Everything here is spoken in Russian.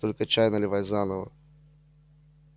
только чай наливай заново